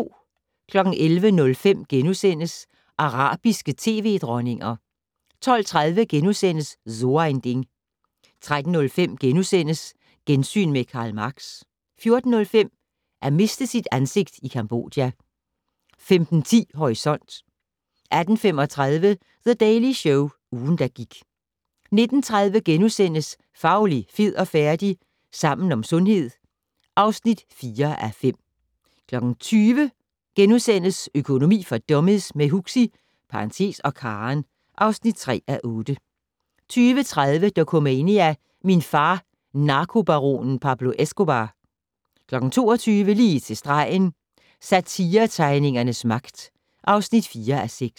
11:05: Arabiske tv-dronninger * 12:30: So ein Ding * 13:05: Gensyn med Karl Marx * 14:05: At miste sit ansigt i Cambodja 15:10: Horisont 18:35: The Daily Show - ugen, der gik 19:30: Fauli, fed og færdig? - Sammen om sundhed (4:5)* 20:00: Økonomi for dummies - med Huxi (og Karen) (3:8)* 20:30: Dokumania: Min far - narkobaronen Pablo Escobar 22:00: Lige til stregen - Satiretegningernes magt (4:6)